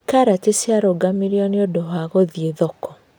Karati ciarũgamĩirũo nĩ ũndũ wa gũthiĩ thoko